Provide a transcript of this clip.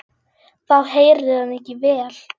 Þá heyrir hann ekki vel.